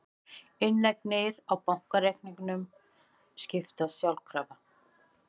Inneignir á bankareikningum skiptast sjálfkrafa